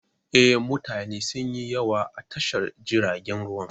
Eh, mutane sunyi yawa a tashar jiragen ruwa